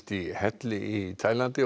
í helli í Taílandi